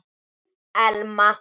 Þín Elma.